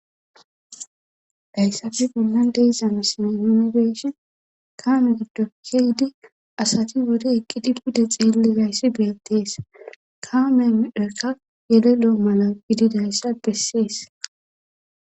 dayssafi bollan deizama sine iunibeshi kaame giddo keydi asati wode eqqidi budde xeelligayssi beettees kaameeka yelelo7o mala gididayssa bessies